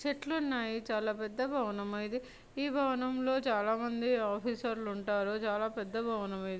చెట్లు ఉన్నాయి చాలా పెద్ద భవనం ఇది ఈ భవనంలో చాలా మంది ఆఫీసర్స్ ఉంటారు చాలా పెద్ద భవనం ఇది.